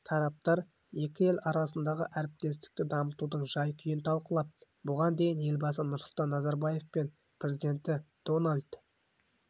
тараптар екі ел арасындағы әріптестікті дамытудың жай-күйін талқылап бұған дейін елбасы нұрсұлтан назарбаев пен президенті долнальд